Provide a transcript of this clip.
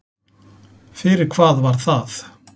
Fyrir hvað var það?